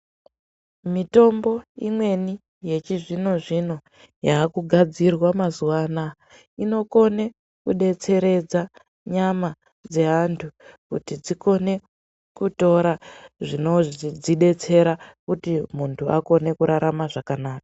Mitombo imweni yechizvino zvino yakugadzirwa mazuvaanaya inokone kudetseredza nyama dzeantu kuti dzikone kutora zvinodzidetsera kuti muntu akone kurarama zvakanaka.